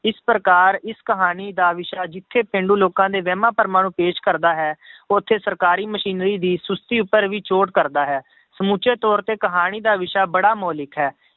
ਇਸ ਪ੍ਰਕਾਰ ਇਸ ਕਹਾਣੀ ਦਾ ਵਿਸ਼ਾ ਜਿੱਥੇ ਪੇਂਡੂ ਲੋਕਾਂ ਦੇ ਵਹਿਮਾਂ ਭਰਮਾਂ ਨੂੰ ਪੇਸ਼ ਕਰਦਾ ਹੈ ਉੱਥੇ ਸਰਕਾਰੀ ਮਸ਼ੀਨਰੀ ਦੀ ਸੁਸਤੀ ਉੱਪਰ ਵੀ ਚੋਟ ਕਰਦਾ ਹੈ, ਸਮੁੱਚੇ ਤੌਰ ਤੇ ਕਹਾਣੀ ਦਾ ਵਿਸ਼ਾ ਬੜਾ ਮੋਲਿਕ ਹੈ,